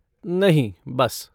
नहीं बस।